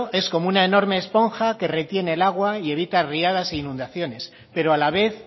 es como una enorme esponja que retiene el agua y evita riadas e inundaciones pero a la vez